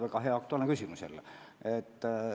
Väga hea ja aktuaalne küsimus jälle!